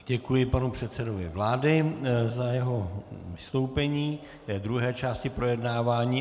Děkuji panu předsedovi vlády za jeho vystoupení k druhé části projednávání.